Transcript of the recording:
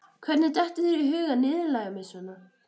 Hvernig dettur þér í hug að niðurlægja mig svona?